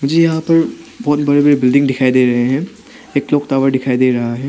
मुझे यहां पर बहोत बड़े बड़े बिल्डिंग दिखाई दे रहे हैं एक क्लॉक टावर दिखाई दे रहा है।